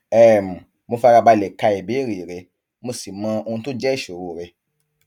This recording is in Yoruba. um mo fara balẹ ka ìbéèrè rẹ mo sì mọ ohun tó jẹ ìṣòro rẹ